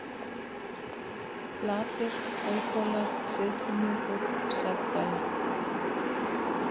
Flatir, Haukhólar, Syðstihnúkur, Sefdæla